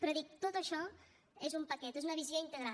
però dic tot això és un paquet és una visió integral